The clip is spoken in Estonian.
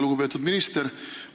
Lugupeetud minister!